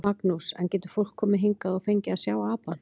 Magnús: En getur fólk komið hingað og fengið að sjá apann?